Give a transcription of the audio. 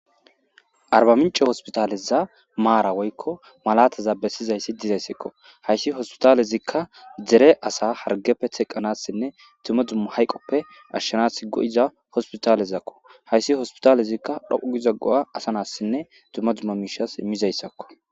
Arbamince hospitale mara woykko malata besizaysi bettes.haysi hospitalezika dere assa hargeppe teqanasinne duma duma hayqoppe ashshanas goi'za, haysi hospitalezika dhoqu giza goa' imizaysakko.